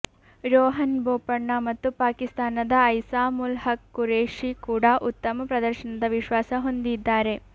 ರೋಹನ್ ಬೋಪಣ್ಣ ಮತ್ತು ಪಾಕಿಸ್ತಾನದ ಐಸಾಮ್ ಉಲ್ ಹಕ್ ಖುರೇಷಿ ಕೂಡಾ ಉತ್ತಮ ಪ್ರದರ್ಶನದ ವಿಶ್ವಾಸ ಹೊಂದಿದ್ದಾರೆ